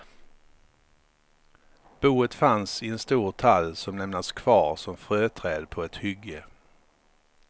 Boet fanns i en stor tall som lämnats kvar som fröträd på ett hygge.